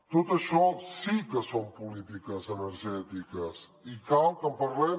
tot això sí que són polítiques energètiques i cal que en parlem